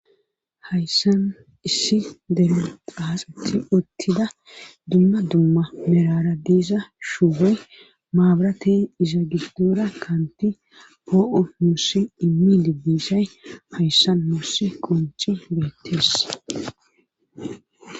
Hayssan issi deru qaaxeti uttida dumma dumma merara diiza shuuhoy maabratey iza gibdoora kaanti poo7u nussi immi dibbishay hayssan mussi qunchi beettees.